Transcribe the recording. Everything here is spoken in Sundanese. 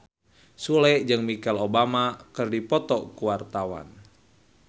Sule jeung Michelle Obama keur dipoto ku wartawan